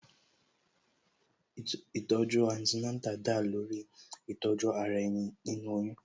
Ìtọ̀ju Antenatal da lórí Ìtọ̀ju ara ẹni, nínú oyún